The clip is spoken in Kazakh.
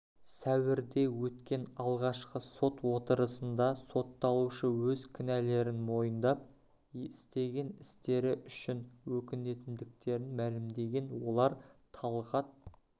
сәуірде өткен алғашқы сот отырысында сотталушы өз кінәлерін мойындап істеген істері үшін өкінетіндіктерін мәлімдеген олар талғат